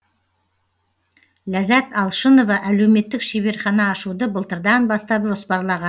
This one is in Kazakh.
ляззат алшынова әлеуметтік шеберхана ашуды былтырдан бастап жоспарлаған